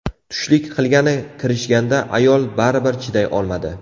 Tushlik qilgani kirishganda ayol baribir chiday olmadi.